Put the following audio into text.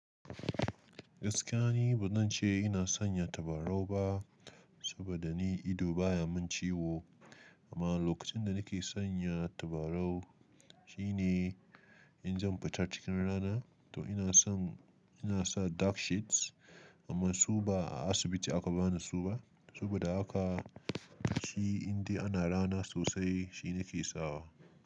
Gaskiya ni ba zan ce ina sanya ta baro ba, saboda ni ido baya mun ciwo. Amma lokacin da nike sanya tabarau shine in zan fita cikin rana. To ina son ina sa dark shades amma su ba a asibiti aka bani su ba. Saboda haka shi indai ana rana sosai shi nake sawa.